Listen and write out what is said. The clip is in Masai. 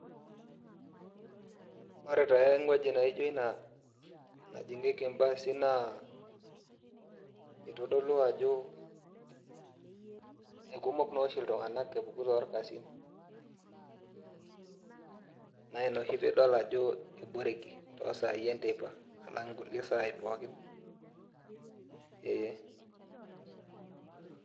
Ore taa ewueji najio ina najingieki baasi naa, kitodolu ajo kekumok naa oshi iltungana epuku torkasin, naa ina oshi pee idol ajo eboreki too sai enteipa alang nkulie sai pooki eeh.